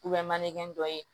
mankɛ dɔ ye